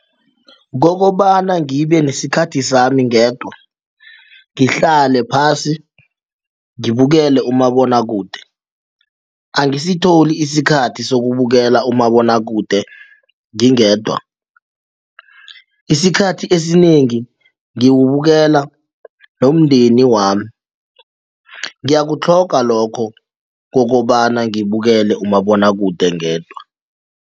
Kokobana ngibe nesikhathi sami ngedwa ngihlale phasi ngibukele umabonwakude angisitholi isikhathi sokubukela umabonwakude ngingedwa, isikhathi esinengi ngiwubukela nomndeni wami ngiyakutlhoga lokho kokobana ngibukele umabonwakude ngedwa.